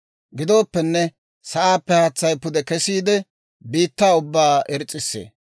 Gidooppenne sa'aappe haatsay pude kesiide, biittaa ubbaa irs's'issee.